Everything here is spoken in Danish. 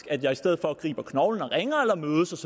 at jeg i stedet for griber knoglen og ringer eller mødes